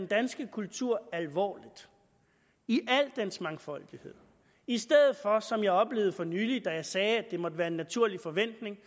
danske kultur alvorligt i al dens mangfoldighed i stedet for som jeg oplevede for nylig da jeg sagde at det måtte være en naturlig forventning